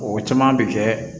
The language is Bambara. O caman bɛ kɛ